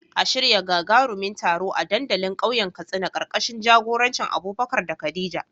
A shirya gagarumin taro a dandalin kauyen Katsina, karkashin jagorancin Abubakar da Khadija.